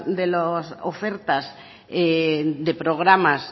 de las ofertas de programas